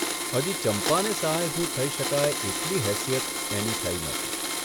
હજી ચંપાને સહાયભૂત થઇ શકાય એટલી હેસીયત એની થઇ નહોતી.